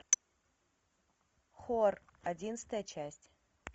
хор одиннадцатая часть